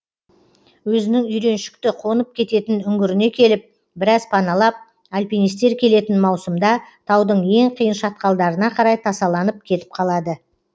өзінің үйреншікті қонып кететін үңгіріне келіп біраз паналап альпинистер келетін маусымда таудың ең қиын шатқалдарына қарай тасаланып кетіп қалады